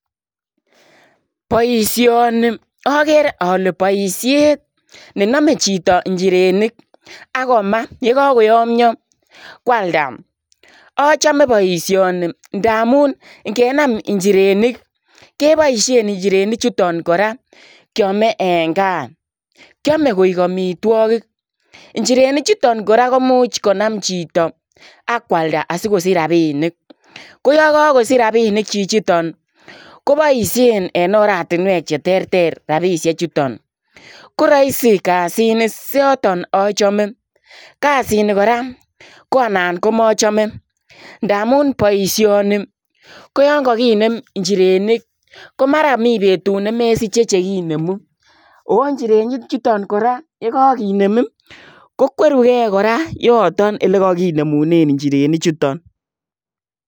Boisioni agere ale boisiet ne name chitoo injirenik ako maah ye kagoyamya kwaldaa achame boisioni ndamuun ingenam injerenik kebaisheen injirenik chutoon kora kyame en gaah , kyame koek amitwagiik injerenik chutoon kora komuuch konaam chitoo akwalda asikosiich rapinik ko yaan kakosiich rapinik chichitoon kobaisheen en oratinweek che terter rapisheek chutoon, koraisi kassit ni notoon sa chame kassit ni koraa ko naan ko machame ndamuun boisioni ko yaan kagineem injirenik ko mara mii betut komesichei chekinemuu injerenik chutoon kora ye kaginrm ko kwerugei kora yotoon ole kaginemunen injirenik chutoon.